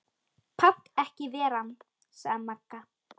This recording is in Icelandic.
Pant ekki ver ann, sagði Magga.